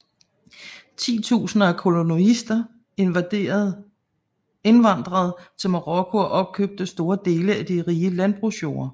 Titusinder af kolonister indvandrede til Marokko og opkøbte store dele af de rige landbrugsjorder